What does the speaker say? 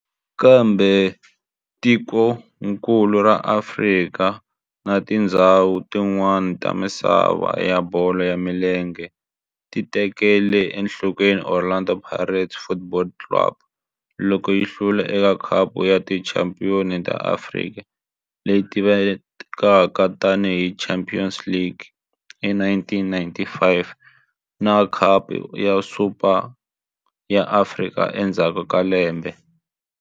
Kambe tikonkulu ra Afrika na tindzhawu tin'wana ta misava ya bolo ya milenge ti tekele enhlokweni Orlando Pirates Football Club loko yi hlula eka Khapu ya Tichampion ta Afrika, leyi tivekaka tani hi Champions League, hi 1995 na Khapu ya Super ya Afrika endzhaku ka lembe.